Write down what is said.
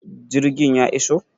Jirgin ya iso?